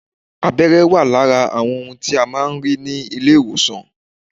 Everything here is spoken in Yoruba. Abẹ́rẹ́ wà lára àwọn ohun tí a máa ń rí ní ilé ìwòsàn